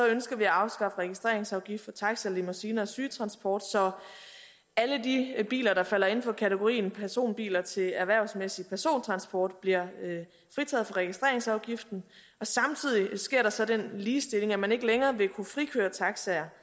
ønsker vi at afskaffe registreringsafgiften for taxaer limousiner og sygetransport så alle de biler der falder inden for kategorien personbiler til erhvervsmæssig persontransport bliver fritaget for registreringsafgiften samtidig sker der så den ligestilling at man ikke længere vil kunne frikøre taxaer